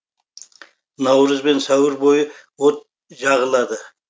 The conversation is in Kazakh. наурыз бен сәуір бойы от жағылады